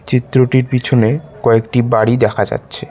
চিত্রটির পিছনে কয়েকটি বাড়ি দেখা যাচ্ছে।